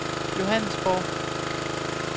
Johannesborg